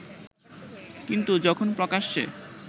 কিন্তু যখন প্রকাশ্যে